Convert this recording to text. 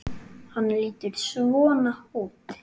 Hann lítur svona út